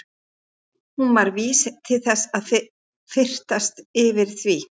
Hún var vís til þess að fyrtast yfir því.